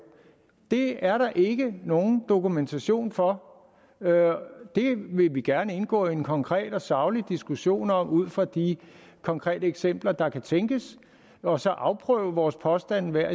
det er der ikke nogen dokumentation for det vil vi gerne indgå i en konkret og saglig diskussion om ud fra de konkrete eksempler der kan tænkes og så afprøve vores påstande hver